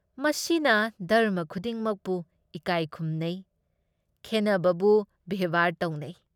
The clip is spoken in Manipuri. ꯃꯁꯤꯅ ꯙꯔꯝꯃ ꯈꯨꯗꯤꯡꯃꯛꯄꯨ ꯏꯀꯥꯏ ꯈꯨꯝꯅꯩ, ꯈꯦꯟꯅꯕꯕꯨ ꯕꯦꯕꯍꯥꯔ ꯇꯧꯅꯩ ꯫